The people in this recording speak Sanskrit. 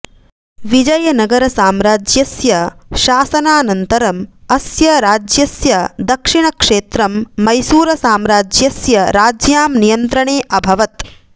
विजयनगरसाम्राज्यस्य शासनानन्तरम् अस्य राज्यस्य दक्षिणक्षेत्रं मैसूरसाम्राज्यस्य राज्ञां नियन्त्रणे अभवत्